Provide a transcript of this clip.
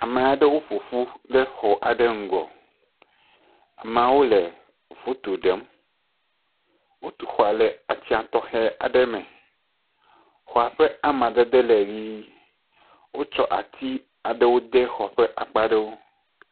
Ame aɖewo ƒo ƒu ɖe xɔ aɖe ŋgɔ. Amewo le foto ɖem. Wotu xɔ le atsɛ̃a tɔxɛ aɖe me. Xɔ ƒe amadede le ʋi. Wotsɔ ati de xɔa ƒe akpa aɖewo.